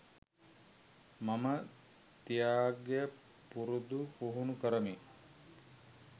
මම ත්‍යාගය පුරුදු පුහුණු කරමි